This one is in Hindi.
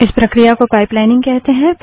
इस प्रक्रिया को पाइपलाइनिंग कहते हैं